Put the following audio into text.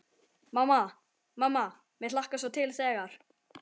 Mamma, mamma mér hlakkar svo til þegar.